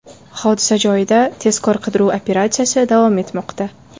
Hodisa joyida tezkor-qidiruv operatsiyasi davom etmoqda.